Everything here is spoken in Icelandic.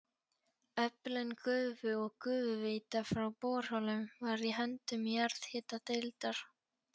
Öflun gufu og gufuveita frá borholum var í höndum jarðhitadeildar.